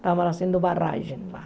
Estava fazendo barragem lá.